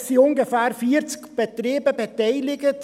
Es sind ungefähr 40 Betriebe daran beteiligt.